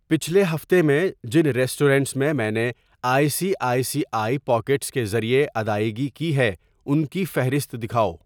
پچھلے ہفتے میں جن ریسٹورنٹس میں میں نے I C I C I pockets کے ذریعے ادائیگی کی ہے ان کی فہرست دکھاو۔